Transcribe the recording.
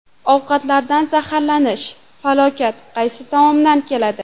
Ovqatlardan zaharlanish: falokat qaysi tomondan keladi?.